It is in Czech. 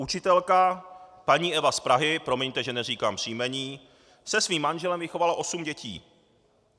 Učitelka paní Eva z Prahy, promiňte, že neříkám příjmení, se svým manželem vychovala osm dětí.